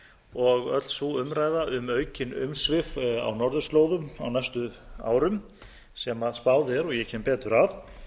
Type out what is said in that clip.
og öll sú umræða um aukin umsvif á norðurslóðum á næstu árum sem spáð er og ég kem betur að